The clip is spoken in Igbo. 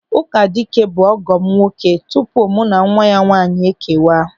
Ụkadike bụ ọgọ m nwoke tupu mụ na nwa ya nwaanyị ekewa.